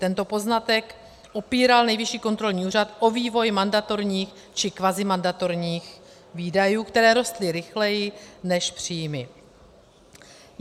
Tento poznatek opíral Nejvyšší kontrolní úřad o vývoj mandatorních či kvazimandatorních výdajů, které rostly rychleji než příjmy.